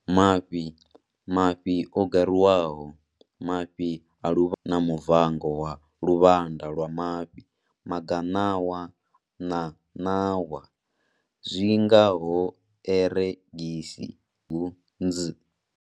Mafhi, mafhi o gariwaho, mafhi a luvhanda khathihi na muvango wa luvhanda lwa mafhi Magaṋawa na ṋawa, zwi nga ho eregisi, hunzi.